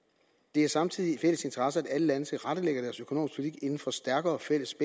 det er samtidig i fælles interesse at alle lande tilrettelægger deres økonomiske politik inden for stærkere fælles